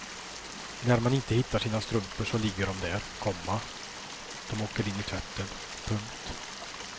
När man inte hittar sina strumpor så ligger de där, komma de åker in i tvätten. punkt